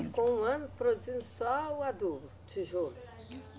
Ficou um ano produzindo só o adubo, tijolo